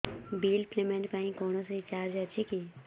bill payment ପାଇଁ କୌଣସି charge ଅଛି କି